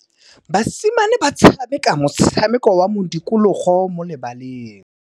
Basimane ba tshameka motshameko wa modikologô mo lebaleng.